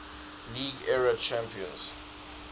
league era champions